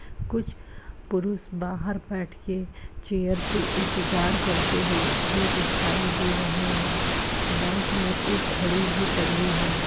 कुछ पुरुष बाहर बैठ के चेयर पे इंतजार करते हुए दिखाई दे रहे हैं। बैंक में एक घड़ी भी टंगी है।